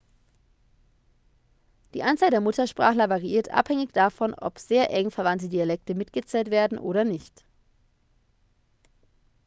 die anzahl der muttersprachler variiert abhängig davon ob sehr eng verwandte dialekte mitgezählt werden oder nicht